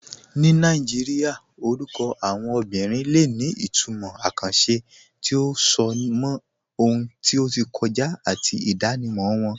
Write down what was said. Ní Nàìjíríà, orúkọ àwọn obìnrin lè ní ìtumọ̀ àkànṣe tí ó so mọ́ ohun tí ó ti kọjá àti ìdánimọ̀ wọn.